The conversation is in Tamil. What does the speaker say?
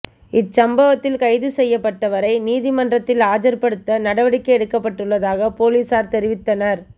இச்சம்பவத்தில் கைது செய்யப்பட்டவரை நீதிமன்றில் ஆஜர்படுத்த நடவடிக்கை எடுக்கப்பட்டுள்ளதாக பொலிஸார் தெரிவித்தனர்